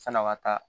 San'a ka taa